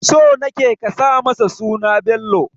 So nake ka sa masa suna Bello